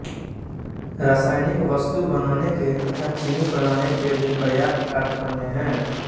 रासायनिक वस्तु बनाने के तथा चीनी बनाने के भी पर्याप्त कारखाने हैं